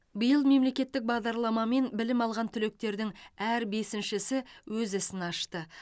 биыл мемлекеттік бағдарламамен білім алған түлектердің әр бесіншісі өз ісін ашты